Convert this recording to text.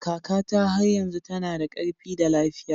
Kakata har yanzu tana da ƙarfi da lafiya